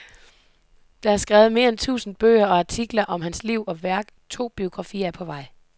Der er skrevet mere end tusind bøger og artikler om hans liv og værk, to biografier er på vej.